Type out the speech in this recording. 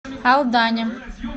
алдане